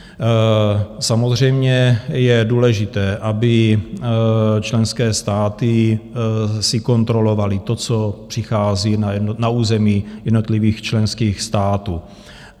Samozřejmě je důležité, aby členské státy si kontrolovaly to, co přichází na území jednotlivých členských států.